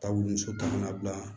Ta wuli muso ka na bila